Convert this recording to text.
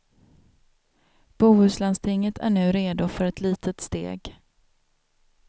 Bohuslandstinget är nu redo för ett litet steg.